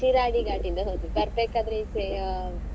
Shiradi Ghat ಇಂದ ಹೋದದ್ದು ಬರ್ಬೇಕಾದ್ರೆ ಈಚೆ ಆ.